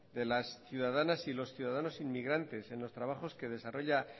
de las ciudadanas y los ciudadanos inmigrantes en los trabajos que desarrolla